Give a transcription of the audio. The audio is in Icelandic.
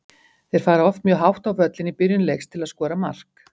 Þeir fara oft mjög hátt á völlinn í byrjun leiks til að skora mark.